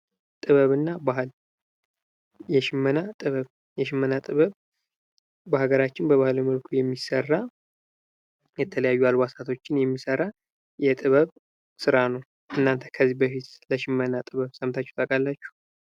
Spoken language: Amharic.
ጥበብ እና ባህል የሽመና ጥበብ በሃገራችን በባህላዊ መልኩ የሚሰራ የተለያዩ አልባሳቶችን የሚሰራ የጥበብ ስራ ነው። እናንተ ከዚህ በፊት ስለሽመና ጥበብ ሰምታቹ ታዉቃላቹ?